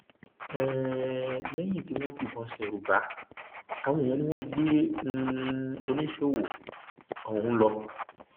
um lẹyìn tí wọn sì fìbọn ṣerú bá àwọn èèyàn ni wọn gbé um oníṣòwò ọhún lọ